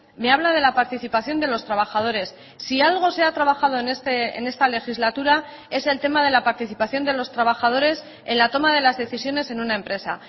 me habla de la participación de los trabajadores si algo se ha trabajado en esta legislatura es el tema de la participación de los trabajadores en la toma de las decisiones en una empresa